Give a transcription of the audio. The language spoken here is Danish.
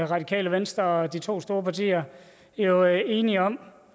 radikale venstre og de to store partier er jo enige om